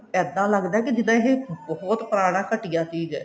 ਇੱਦਾਂ ਲੱਗਦਾ ਕੀ ਜਿੱਦਾਂ ਇਹ ਪੁਰਾਣਾ ਘਟੀਆ ਚੀਜ ਐ